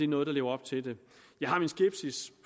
noget der lever op til det jeg har min skepsis